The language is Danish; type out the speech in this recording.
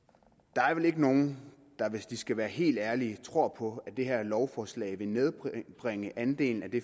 der er vel ikke nogen der hvis de skal være helt ærlige tror på at det her lovforslag vil nedbringe andelen af det